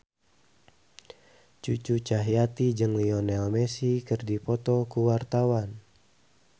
Cucu Cahyati jeung Lionel Messi keur dipoto ku wartawan